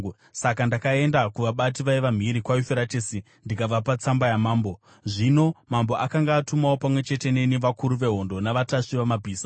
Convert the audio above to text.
Saka ndakaenda kuvabati vaiva mhiri kwaYufuratesi ndikavapa tsamba dzamambo. Zvino mambo akanga atumawo pamwe chete neni vakuru vehondo navatasvi vamabhiza.